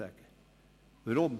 Weshalb dies?